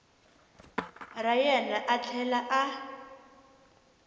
ra yena a tlhela a